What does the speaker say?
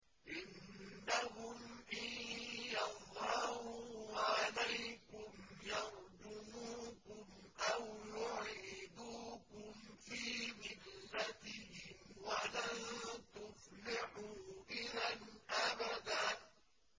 إِنَّهُمْ إِن يَظْهَرُوا عَلَيْكُمْ يَرْجُمُوكُمْ أَوْ يُعِيدُوكُمْ فِي مِلَّتِهِمْ وَلَن تُفْلِحُوا إِذًا أَبَدًا